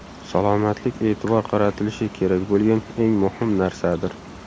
Salomatlik e’tibor qaratilishi kerak bo‘lgan eng muhim narsadir.